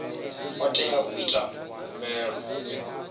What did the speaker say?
o teaho u ita khumbelo